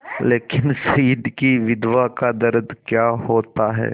लेकिन शहीद की विधवा का दर्द क्या होता है